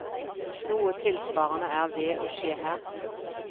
Noe tilsvarende er ved å skje her.